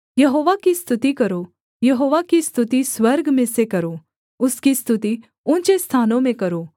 यहोवा की स्तुति करो यहोवा की स्तुति स्वर्ग में से करो उसकी स्तुति ऊँचे स्थानों में करो